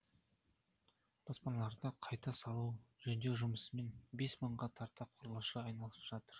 баспаналарды қайта салу жөндеу жұмысымен бес мыңға тарта құрылысшы айналысып жатыр